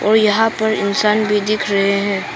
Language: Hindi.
और यहां पर इंसान भी दिख रहे हैं।